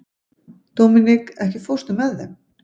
Dominik, ekki fórstu með þeim?